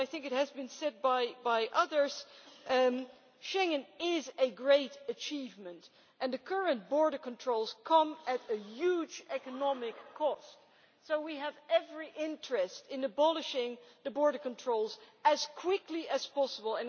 I think it has been said by others that Schengen is a great achievement and the current border controls come at a huge economic cost, so we have every interest in abolishing the border controls as quickly as possible.